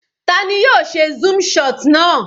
Tani yóò ṣe zoom shot náà?